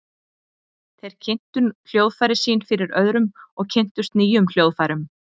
Þeir kynntu hljóðfærin sín fyrir öðrum og kynntust nýjum hljóðfærum.